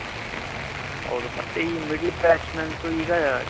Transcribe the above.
ಹೌದು ಮತ್ತೆ ಈ middle batsmen so ಈಗ